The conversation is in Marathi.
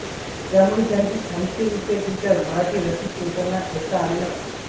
त्यांमुळे त्यांचे साहित्यविषयक विचार मराठी रसिक श्रोत्यांना ऐकता आले नव्हते